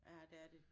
Ja det er de